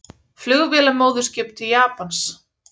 Flugvélamóðurskip til Japans